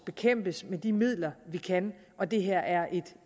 bekæmpes med de midler vi kan og det her er